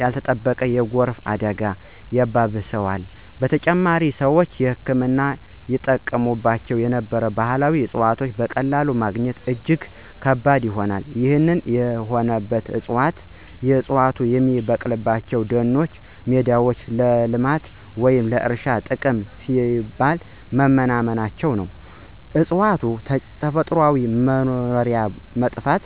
ያልተጠበቀ የጎርፍ አደጋን ያባብሰዋል። በተጨማሪም፣ ሰዎች ለሕክምና ይጠቀሙባቸው የነበሩ ባህላዊ እፅዋትን በቀላሉ ማግኘት እጅግ ከባድ ሆኗል። ይህ የሆነው ዕፅዋቱ የሚበቅሉባቸው ደኖችና ሜዳዎች ለልማት ወይም ለእርሻ ጥቅም ሲባል በመመናመናቸው ነው። የእፅዋቱ ተፈጥሯዊ መኖሪያ በመጥፋቱ፣